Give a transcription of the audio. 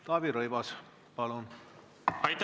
Taavi Rõivas, palun!